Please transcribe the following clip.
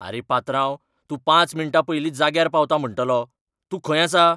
आरे पात्रांव, तूं पांच मिण्टां पयलींच जाग्यार पावता म्हणटलो. तूं खंय आसा?